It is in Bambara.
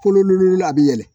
Kolololo a bi yɛlɛn